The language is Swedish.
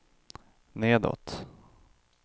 nedåt